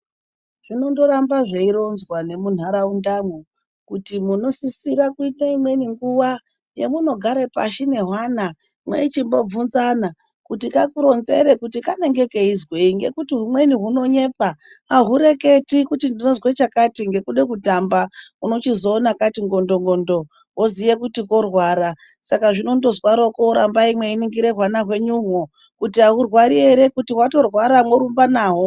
Zvinondoramba zveironzwa nemunharaundamo, kuti munosisira kuite imweni nguva yamunogare pashi nehwana mweichimbobvunzana kuti kakuronzere kuti kanenge keizwei ngekuti humweni hunonyepa. Ahureketi kuti ndinozwe chakati ngekuda kutamba, unochizoona kati ngondongondo woziye kuti korwara. Saka zvinondozwaroko rambai mweiningira hwana hwenyohwo kuti ahurwari here , kuti hwatorwara, morumba nahwo.